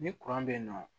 Ni bɛ yen nɔ